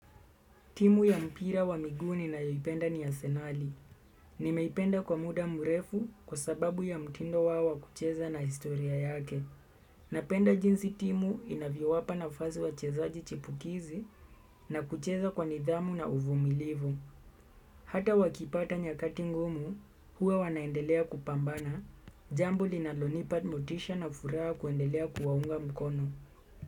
Timu ya mpira wa miguu ninayoipenda ni asenali. Nimeipenda kwa muda mrefu kwa sababu ya mtindo wao kucheza na historia yake. Napenda jinsi timu inavyo wapa nafasi wachezaji chipukizi na kucheza kwa nidhamu na uvumilivu. Hata wakipata nyakati ngumu, huwa wanaendelea kupambana. Jambo linalo nipa motisha na furaha kuendelea kuwaunga mkono.